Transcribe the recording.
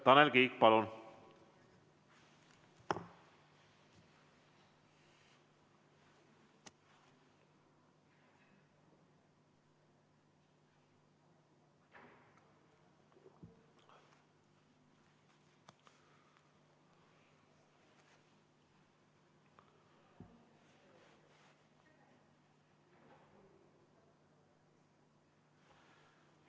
Tanel Kiik, palun!